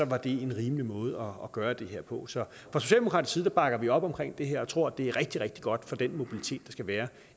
var det en rimelig måde at gøre det på så fra socialdemokratisk side bakker vi op omkring det her og tror at det er rigtig rigtig godt for den mobilitet der skal være